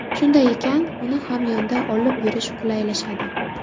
Shunday ekan, uni hamyonda olib yurish qulaylashadi.